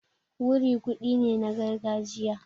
Wuri kuɗi ne na gargajiya.